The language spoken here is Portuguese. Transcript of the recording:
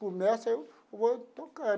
Começa, aí eu vou tocar.